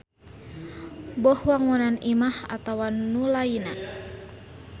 Boh wangunan imah atawa nu lainna.